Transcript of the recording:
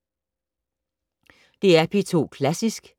DR P2 Klassisk